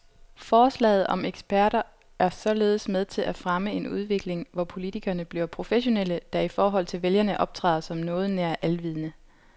Forslaget om eksperter er således med til at fremme en udvikling, hvor politikerne bliver professionelle, der i forhold til vælgerne optræder som noget nær alvidende.